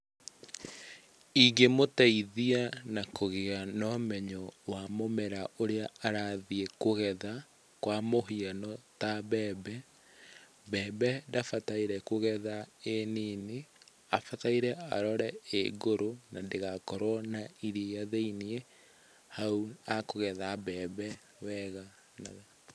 Ingĩmũteithia na kũgĩa na ũmenyo wa mũmera ũrĩa arathiĩ kũgetha, kwa mũhiano ta mbembe, mbembe ndabataire kũgetha ĩ nini. Abataire kũrora ĩ ngũrũ na ndĩgakorwo na iria thĩiniĩ, hau akũgetha mbembe wega mũno.